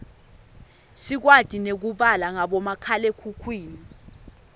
sikwati nekubala ngabomakhalekhukhwini